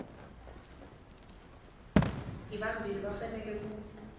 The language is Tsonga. hi vambirhi va fanele ku